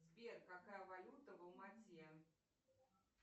сбер какая валюта в алма ате